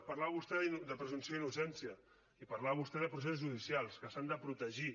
parlava vostè de presumpció d’innocència i parlava vostè de procés judicials que s’han de protegir